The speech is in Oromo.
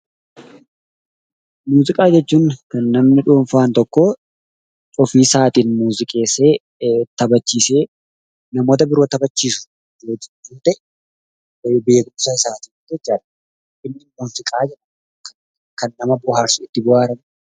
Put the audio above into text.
Muuziqaa jechuun kan namni dhuunfaan tokko ofiisaatiin muuziqeessee taphachiisee uummata biroo taphachiisu jechuu yoo ta'u beekumsa isaatiin jechuudha. Muuziqaan kan nama bohaarsu itti bohaarani.